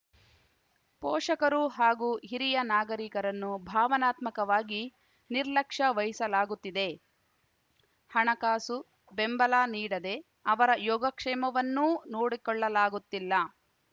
ಪೋಷಕರು ಹಾಗೂ ಹಿರಿಯ ನಾಗರಿಕರನ್ನು ಭಾವನಾತ್ಮಕವಾಗಿ ನಿರ್ಲಕ್ಷ್ಯವಹಿಸಲಾಗುತ್ತಿದೆ ಹಣಕಾಸು ಬೆಂಬಲ ನೀಡದೇ ಅವರ ಯೋಗಕ್ಷೇಮವನ್ನೂ ನೋಡಿಕೊಳ್ಳಲಾಗುತ್ತಿಲ್ಲ